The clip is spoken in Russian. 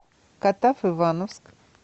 катав ивановск